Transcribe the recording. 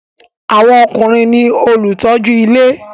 Àwọn ọkùnrin ní olùtọ́jú ilé